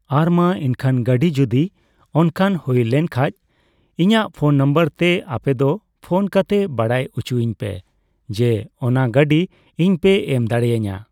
ᱟᱨ ᱢᱟ ᱮᱱᱠᱷᱟᱱ ᱜᱟᱹᱰᱤ ᱡᱚᱫᱤ ᱚᱱᱠᱟ ᱦᱩᱭ ᱞᱮᱱᱠᱷᱟᱡ ᱤᱧᱟᱜ ᱯᱷᱚᱱ ᱱᱚᱢᱵᱚᱨ ᱛᱮ ᱟᱯᱮᱫᱚ ᱯᱷᱚᱱ ᱠᱟᱛᱮᱜ ᱵᱟᱲᱟᱭ ᱩᱪᱩᱭᱤᱧ ᱯᱮ ᱡᱮ ᱚᱱᱟ ᱜᱟᱹᱰᱤ ᱤᱧᱯᱮ ᱮᱢᱫᱟᱲᱮᱭᱟᱹᱧᱟᱹ ᱾